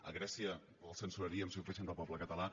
a grècia el censuraríem si ho fessin del poble català